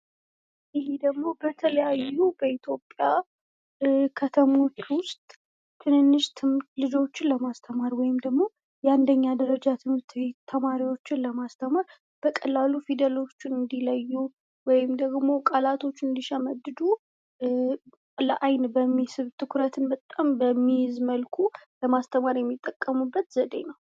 በተለያዩ የኢትዮጵያ ከተሞች ውስጥ ህጻናትን ወይም የ አንደኛ ደረጃ ትምህርት ቤቶች የሚማሩ ልጆችን ለማስተማር ፣ በቀላሉ ፊደሎችን እንዲለዩ ፣ ቃላቶችን እንዲሸመድዱ ትኩረትን በሚስብ መልኩ ለማስተማር የሚጠቀሙበት ዘዴ ነው።